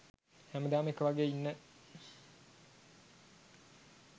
හැමදාම එක වගේ ඉන්න